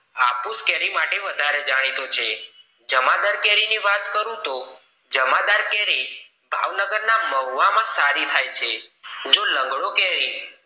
હાપુસ કેરી માટે વધારે જાણીતું છે જમાદાર કેરી ની વાત કરું તું જમાદર કેરી ભાવનગર ના મહુવા માં સારી થાય છે જો લગડો કેરી